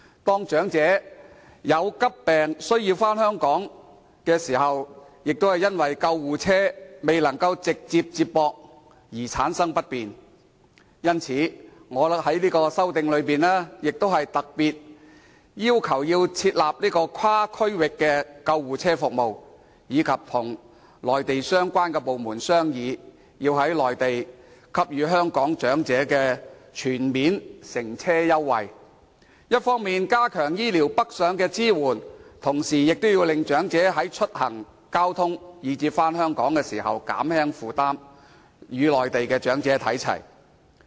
當長者患急病，需回港治療時，便因救護車未能直達而造成不便，所以，我在修正案中，特別要求設立跨區域救護車服務，並要求政府與內地相關部門商議，在內地推行香港長者全面乘車優惠，一方面加強醫療上的支援，同時減輕長者出行、交通及返港的負擔，享有與內地長者看齊的福利。